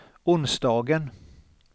onsdagen